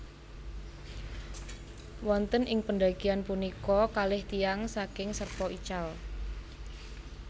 Wonten ing pendakian punika kalih tiyang saking Sherpa ical